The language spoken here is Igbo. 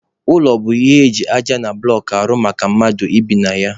Ụlọ bụ ihe eji aja na bụlọk rụọ maka mmadụ ibi na ya.